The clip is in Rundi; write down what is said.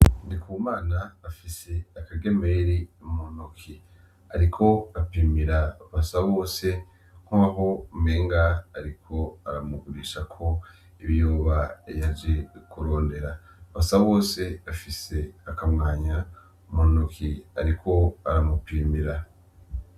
Ndikumana afise akagemeri mu ntoki, ariko apimira basa bose nkaho umenga ariko aramugurishako ibiyoba yaje kurondera basa bose afise akamwanya mu ntoki ariko aramupimira.